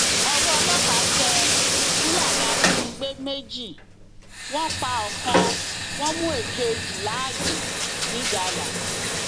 ọwọ ọlọpàá tẹ fúlàní ajínigbé méjì wọn pa ọkàn wọn mú èkejì láàyè ńigalà